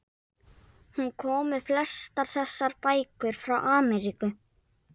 Hún kom með flestar þessar bækur frá Ameríku.